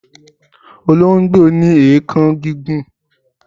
Olongbo ni eekan gigun